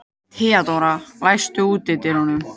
Theodóra, læstu útidyrunum.